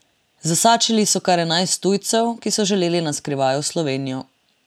Zasačili so kar enajst tujcev, ki so želeli na skrivaj v Slovenijo.